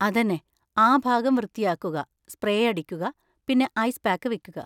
അതെന്നെ, ആ ഭാഗം വൃത്തിയാക്കുക, സ്പ്രേ അടിക്കുക, പിന്നെ ഐസ് പാക്ക് വെക്കുക.